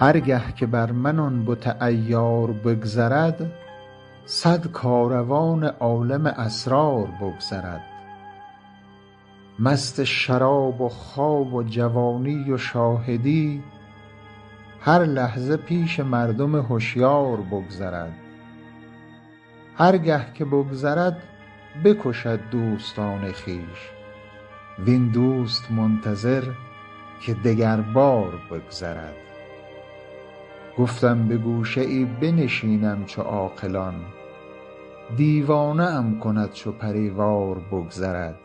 هر گه که بر من آن بت عیار بگذرد صد کاروان عالم اسرار بگذرد مست شراب و خواب و جوانی و شاهدی هر لحظه پیش مردم هشیار بگذرد هر گه که بگذرد بکشد دوستان خویش وین دوست منتظر که دگربار بگذرد گفتم به گوشه ای بنشینم چو عاقلان دیوانه ام کند چو پری وار بگذرد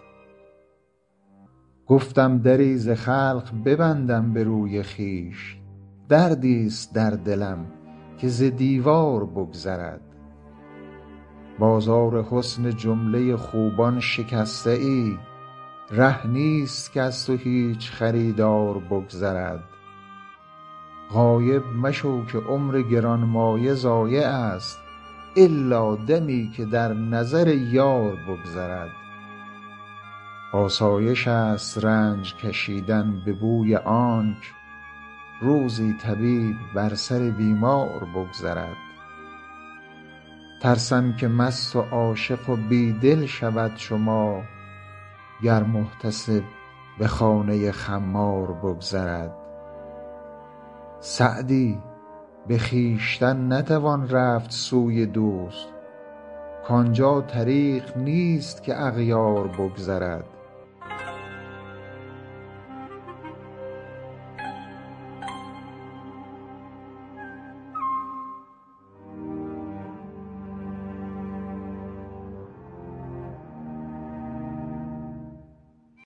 گفتم دری ز خلق ببندم به روی خویش دردیست در دلم که ز دیوار بگذرد بازار حسن جمله خوبان شکسته ای ره نیست کز تو هیچ خریدار بگذرد غایب مشو که عمر گرانمایه ضایعست الا دمی که در نظر یار بگذرد آسایشست رنج کشیدن به بوی آنک روزی طبیب بر سر بیمار بگذرد ترسم که مست و عاشق و بی دل شود چو ما گر محتسب به خانه خمار بگذرد سعدی به خویشتن نتوان رفت سوی دوست کان جا طریق نیست که اغیار بگذرد